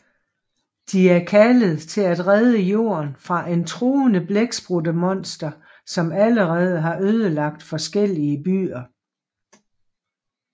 De er kaldet til at redde Jorden fra et truende blækspruttemonster som allerede har ødelagt forskellige byer